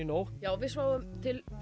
nótt já við sváfum til